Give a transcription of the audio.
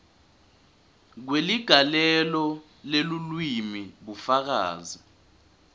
kweligalelo lelulwimi bufakazi